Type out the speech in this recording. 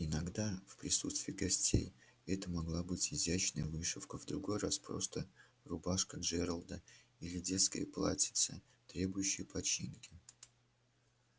иногда в присутствии гостей это могла быть изящная вышивка в другой раз просто рубашка джералда или детское платьице требующее починки